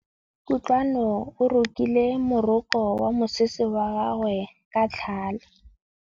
Kutlwanô o rokile morokô wa mosese wa gagwe ka tlhale.